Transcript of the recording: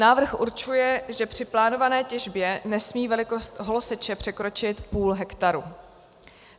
Návrh určuje, že při plánované těžbě nesmí velikost holoseče překročit půl hektaru.